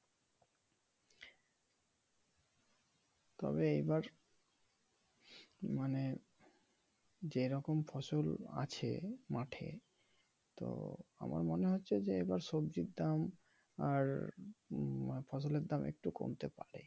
তবে এইবার মানে যেরকম ফসল আছে মাঠে তো আমার মনে হচ্ছে যে এইবার সবজির দাম আর ফসলের দাম একটু কমতে পারে ।